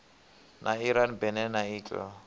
na iran benin na italy